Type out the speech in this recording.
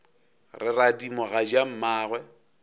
re radimo ga ja mmagwe